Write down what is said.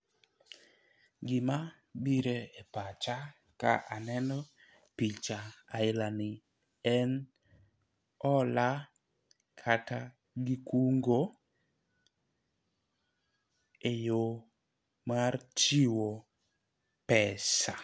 Gima bire pacha ka aneno picha aila ni en hola kata gi kungo eyo mar chiwo pesa